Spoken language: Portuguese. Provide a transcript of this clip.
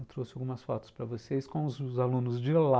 Eu trouxe algumas fotos para vocês com os alunos de lá.